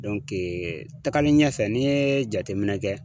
tagalen ɲɛfɛ n'i ye jateminɛ kɛ.